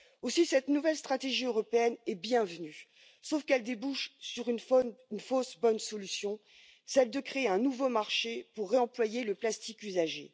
Aussi, cette nouvelle stratégie européenne est la bienvenue. Sauf qu'elle débouche sur une fausse bonne solution, celle de créer un nouveau marché pour réemployer le plastique usagé.